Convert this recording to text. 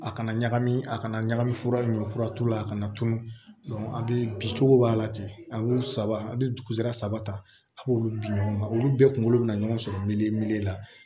A kana ɲagami a kana ɲagami fura min ɲɔ fura t'u la a kana tunun a bɛ bin cogo b'a la ten a b'u saba a bɛ dugusa saba ta a b'olu bin ɲɔgɔn na olu bɛɛ kunkolo bɛna ɲɔgɔn sɔrɔ la